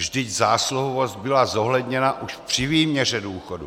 Vždyť zásluhovost byla zohledněna už při výměře důchodu.